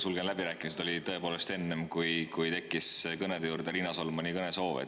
"Sulgen läbirääkimised" oli tõepoolest enne, kui tekkis kõnede juurde Riina Solmani kõnesoov.